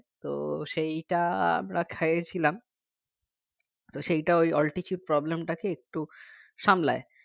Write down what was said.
তো সেইটা আমরা খেয়েছিলাম তো সেইটা ওই altitude problem টাকে একটু সামলায়